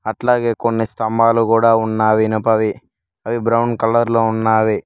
అట్లాగే కొన్ని స్తంభాలు కూడా ఉన్నాయి ఇనుపవి అవి బ్రౌన్ కలర్ లో ఉన్నవి.